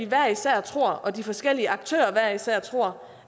hver især tror og de forskellige aktører hver især tror